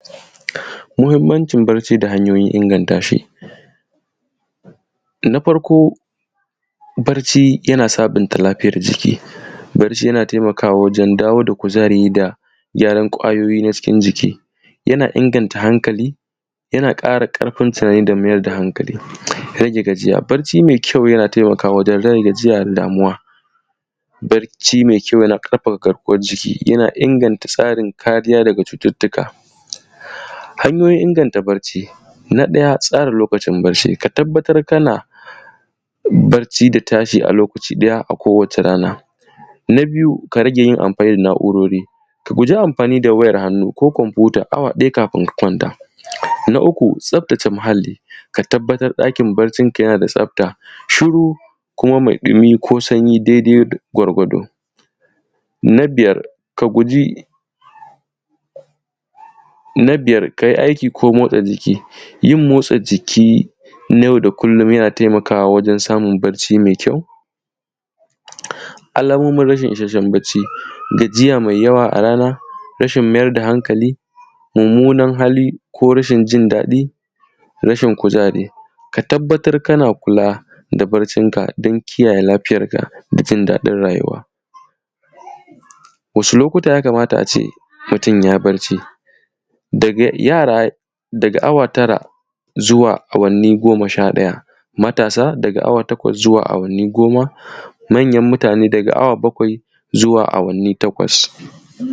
Muhimmancin bacci da hayoyin inganta shi. Na farko: Bacci yan sabunta lafiyan jiki, bacci yana taimakawa wajen dawo da kuzari da gyaran ƙwayoyin cikin jiki. Yana inganta hankali, yana ƙara ƙarfin tunani da maida hankali. Rage gajiya, bacci mai kyau, yana taimakawa wajen rage gajiya da damuwa. Bacci mai kyau yana ƙarfafa garkuwan jiki, yana inganta tsari ko kariya daga cutattuka. Hanyoyin inganta bacci, na ɗaya: Tsara lokacin bacci, ka tabbatar kana bacci da tashi a lokacin da ya dace ko wace rana. Na biyu: Ka riƙa yin amfani da na’urori, ka guji amfani da wayar hannu ko kwamfuta awa ɗaya kafin ka kwanta. Na uku: Tsabtace muhalli, ka tabbatar ɗakin baccinka yana da tsabta, shiru ko mai ɗumi ko sanyi daidai gwargwado. Na biyar: Ka yi aiki ko motsa jiki, yin motsa jiki na yau da kullum yana taimakawa wajen samun bacci mai kyau. Alamomin rashin isasshen bacci: Gajiya mai yawa a rana, rashin maida hankali, mummunan hali ko rashin jin daɗi, rashin kuzari. Ka tabbatar kana kula da baccinka don kiyaye lafiyarka da jin daɗin rayuwa. Wasu lokuta ya kamata a ce mutum ya yi bacci, yana daga awa tara zuwa awanni goma sha ɗaya. Matasa daga awa takwas zuwa awanni goma. Manyan mutane daga awa bakwai zuwa awanni takwas.